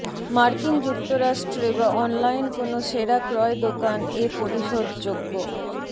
মার্কিন যুক্তরাষ্ট্রে বা অনলাইন কোন সেরা ক্রয় দোকান এ পরিশোধযোগ্য